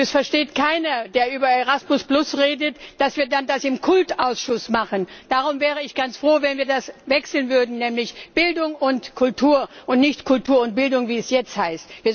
Es versteht keiner, der über Erasmus redet, dass wir dann das im CULT Ausschuss machen. Darum wäre ich ganz froh, wenn wir das ändern würden nämlich Bildung und Kultur und nicht Kultur und Bildung, wie es jetzt heißt.